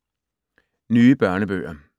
Nye børnebøger